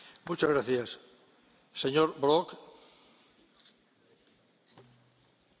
Herr Präsident, Herr Kommissar, Frau Ratspräsidentin, meine Damen und Herren!